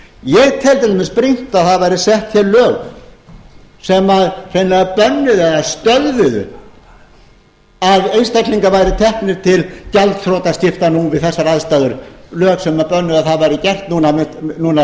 ég tel til dæmis brýnt að það væru sett hér lög sem hreinlega bönnuðu eða stöðvuðu að einstaklingar væru teknir til gjaldþrotaskipta nú við þessar aðstæður lög sem bönnuðu að það væri gert núna